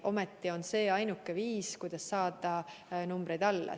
Ometi on see ainuke viis, kuidas saada numbrid alla.